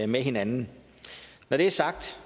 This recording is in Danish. med hinanden når det er sagt